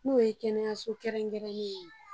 N'o ye kɛnɛyaso kɛrɛnrɛnnen ye